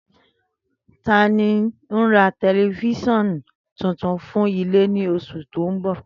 Tani n ra tẹlifisiọnu tuntun fun ile ni oṣu ti n bọ?